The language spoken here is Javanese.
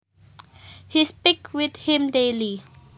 He speaks with him daily